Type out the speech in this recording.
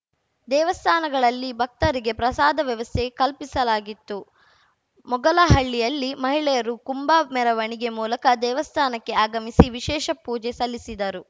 ದೇವಸ್ಥಾನಗಳಲ್ಲಿ ಭಕ್ತರಿಗೆ ಪ್ರಸಾದ ವ್ಯವಸ್ಥೆ ಕಲ್ಪಿಸಲಾಗಿತ್ತು ಮೊಗಲಹಳ್ಳಿಯಲ್ಲಿ ಮಹಿಳೆಯರು ಕುಂಭ ಮೆರವಣಿಗೆ ಮೂಲಕ ದೇವಸ್ಥಾನಕ್ಕೆ ಆಗಮಿಸಿ ವಿಶೇಷ ಪೂಜೆ ಸಲ್ಲಿಸಿದರು